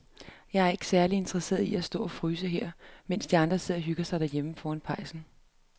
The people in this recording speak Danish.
Jeg er ikke særlig interesseret i at stå og fryse her, mens de andre sidder og hygger sig derhjemme foran pejsen.